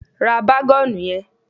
Ra bágọ́ọ̀nù yẹn.